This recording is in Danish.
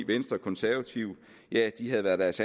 venstre og konservative havde været deres